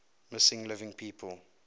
missing living people